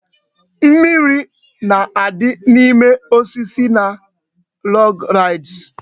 Mimiri na-adị n'ime osisi na log rides